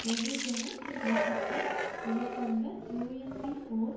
வெகுஜன இயக்கத்தை எதிர்கொண்ட யூஎன்பி ஓர்